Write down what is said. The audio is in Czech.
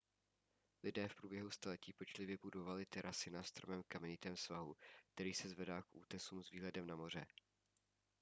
lidé v průběhu staletí pečlivě budovali terasy na strmém kamenitém svahu který se zvedá k útesům s výhledem na moře